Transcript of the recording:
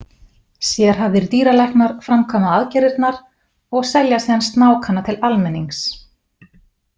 Sérhæfðir dýralæknar framkvæma aðgerðirnar og selja síðan snákana til almennings.